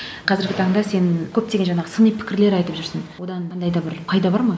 қазіргі таңда сен көптеген жаңағы сыни пікірлер айтып жүрсін одан қандай да бір пайда бар ма